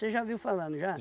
Você já viu falar, não já?